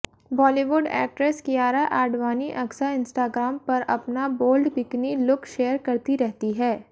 Bollywood actress Kiara Advani अक्सर Instagram पर अपना बोल्ड बिकिनी लुक शेयर करती रहती है